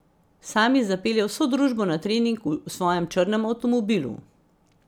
Sami zapelje vso družbo na trening v svojem črnem avtomobilu.